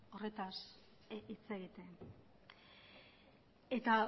horretaz hitz egiten eta